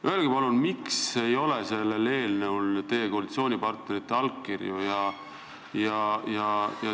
Öelge palun, miks ei ole sellel eelnõul teie koalitsioonipartnerite allkirju.